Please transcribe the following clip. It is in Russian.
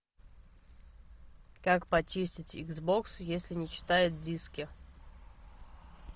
как почистить икс бокс если не читает диски